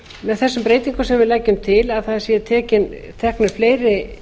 með þessum breytingum sem við leggjum til að það séu teknir fleiri